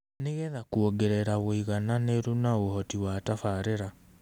Nĩ getha kũongerera ũigananĩru na ũhoti wa tabarĩĩra